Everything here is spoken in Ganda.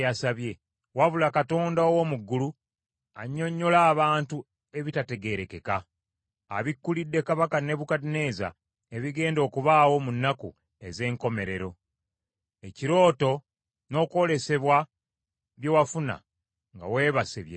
Waliwo Katonda ow’omu ggulu annyonnyola abantu ebitategeerekeka. Abikkulidde Kabaka Nebukadduneeza ebigenda okubaawo mu nnaku ez’enkomerero. Ekirooto n’okwolesebwa bye wafuna nga weebase bye bino.